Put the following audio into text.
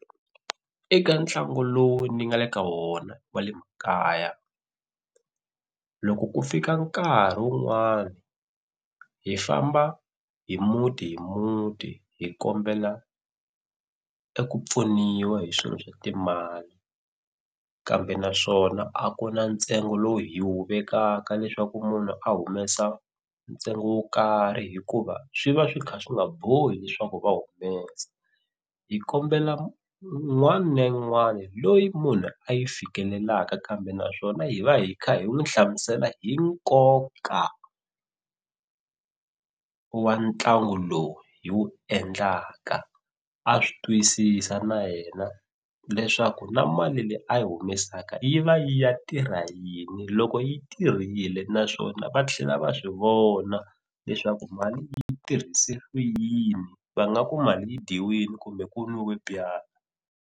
Eka ntlangu lowu ni nga le ka wona wa le makaya loko ku fika nkarhi wun'wani hi famba hi muti hi muti hi kombela eku pfuniwa hi swilo swa timali kambe naswona a ku na ntsengo lowu hi wu vekaka leswaku munhu a humesa ntsengo wo karhi hikuva swi va swi kha swi nga bohi leswaku va humesa hi kombela n'wani na yin'wani loyi munhu a yi fikelelaka kambe naswona hi va hi kha hi n'wi hlamusela hi nkoka wa ntlangu lowu hi wu endlaka a swi twisisa na yena leswaku na mali leyi a yi humesaka yi va yi ya tirha yini loko yi tirhile naswona va tlhela va swi vona leswaku mali yi tirhise ku yini va nga ku mali yi dyiwile kumbe ku n'wiwe byalwa.